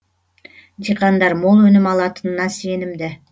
диқандар мол өнім алатынына сенімді